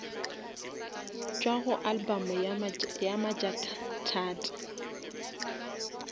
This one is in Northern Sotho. tšwa go album ya majakathata